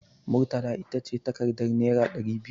Murtala ita ce takardar naira ɗari biyu.